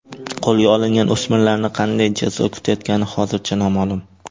Qo‘lga olingan o‘smirlarni qanday jazo kutayotgani hozircha noma’lum.